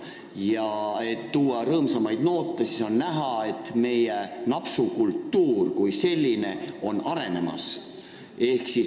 Ja et arutelusse rõõmsamaid noote tuua, ma kinnitan, et meie napsukultuur kui selline on arenemas.